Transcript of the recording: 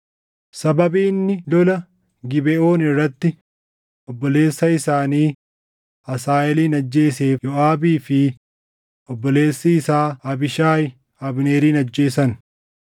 Cubbuun dhiiga isaa mataa Yooʼaabii fi mana abbaa isaa hundaa irra haa gaʼu! Namni madaa malaa yaasu yookaan lamxii qabu yookaan namni uleetti rarraʼee deemu yookaan namni goraadeen ajjeefamu yookaan namni waan nyaatu dhabu mana Yooʼaabii hin dhabamin.”